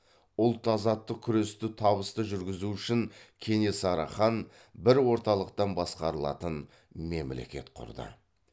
ұлт азаттық күресті табысты жүргізу үшін кенесары хан бір орталықтан басқарылатын мемлекет құрды